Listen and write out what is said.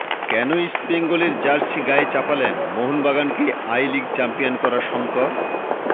কেন East Bengal jersey গায়ে চাপালেন মোহনবাগানকে আই লিগ চ্যাম্পিয়ন করা শংকর